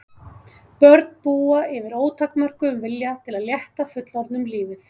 Börn búa yfir ótakmörkuðum vilja til að létta fullorðnum lífið.